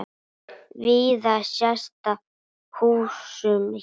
Víða sést á húsum hér.